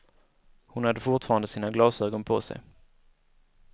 Hon hade fortfarande sina glasögon på sig.